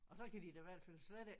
Og så kan de da i hvert fald slet ikke